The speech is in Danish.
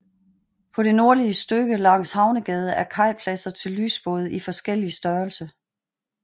På det nordlige stykke langs Havnegade er kajpladser til lysbåde i forskellig størrelse